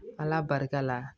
Ala barika la